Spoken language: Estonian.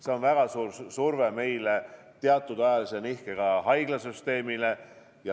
See on väga suur surve meile ja teatud ajalise nihkega ka haiglasüsteemile.